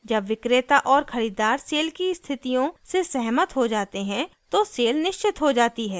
जब विक्रेता और खरीददार सेल की स्थितियों से सहमत हो जाते हैं तो सेल निश्चित हो जाती है